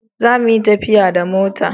Za mu yi tafiya da mota!